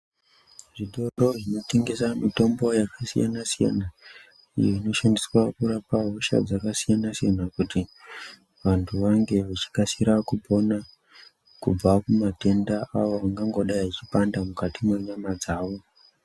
Zvitoro zvinotengesa mitombo yakasiyana siyana iyo inoshandiswa kurapa hosha dzakasiyana siyana kuti vanthu vakasira kupona kubva kumatenda avo angangodai achipanda mukati menyama dzawo.